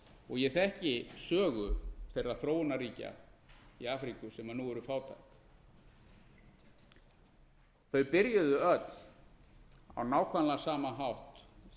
og ég þekki sögu þeirra þróunarríkja í afríku sem nú eru fátæk þau byrjuðu öll á nákvæmlega sama hátt